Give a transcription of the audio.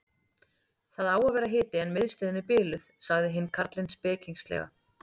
Það á að vera hiti en miðstöðin er biluð sagði hinn karlinn spekingslega.